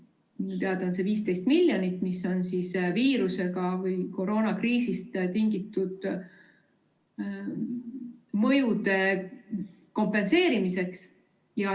Minu teada on see 15 miljonit, mis on koroonakriisist tingitud mõjude kompenseerimiseks.